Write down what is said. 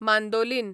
mandolin